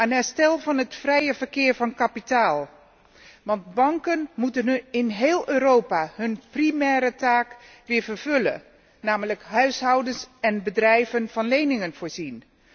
Aan herstel van het vrije verkeer van kapitaal. Want banken moeten in heel Europa hun primaire taak weer vervullen, namelijk huishoudens en bedrijven van leningen voorzien.